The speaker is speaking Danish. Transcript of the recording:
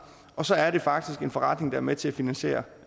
og så er det faktisk en forretning der er med til at finansiere